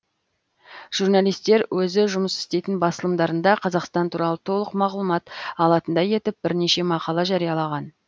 журналистер өзі жұмыс істейтін басылымдарында қазақстан туралы толық мағлұмат алатындай етіп бірнеше мақала жариялаған